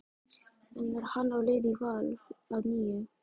En er hann á leið í Val að nýju?